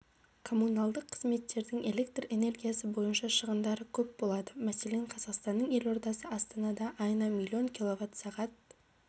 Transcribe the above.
коммуналдық қызметтердің электр энергиясы бойынша шығындары көп болады мәселен қазақстанның елордасы астанада айына миллион киловатт сағат